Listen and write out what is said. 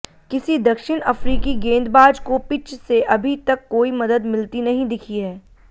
किसी दक्षिण अफ्रीकी गेंदबाज को पिच से अभी तक कोई मदद मिलती नहीं दिखी है